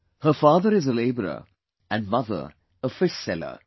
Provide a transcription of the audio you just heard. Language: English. Her father is a labourer and mother a fishseller